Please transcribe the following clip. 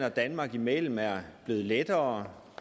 og danmark imellem er blevet lettere